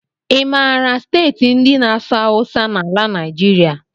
I maara steeti ndị na-asụ awụsa n'ala Naijiria?